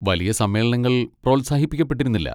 വലിയ സമ്മേളനങ്ങൾ പ്രോത്സാഹിപ്പിക്കപ്പെട്ടിരുന്നില്ല.